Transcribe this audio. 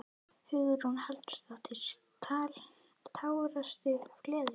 Hugrún Halldórsdóttir: Tárastu af gleði?